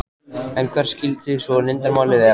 En hvert skyldi svo leyndarmálið vera?